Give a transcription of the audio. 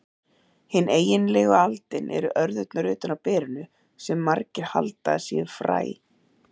Hin eiginlegu aldin eru örðurnar utan á berinu, sem margir halda að séu fræ.